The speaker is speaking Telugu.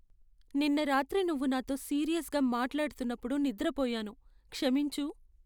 నిన్న రాత్రి నువ్వు నాతో సీరియస్గా మాట్లాడుతున్నప్పుడు నిద్రపోయాను, క్షమించు!